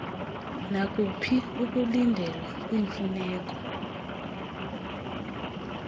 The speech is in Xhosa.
nakuphi ukulindelwa kwiimfuneko